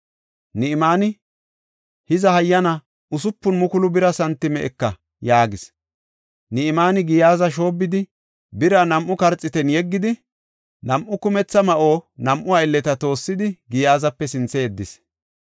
Ni7imaani, “Hiza hayyana usupun mukulu bira santime eka” yaagis. Ni7imaani Giyaaza shoobbidi, bira nam7u karxiitan yeggidi, nam7u kumetha ma7onne nam7u aylleta toossidi, Giyaazape sinthe yeddis.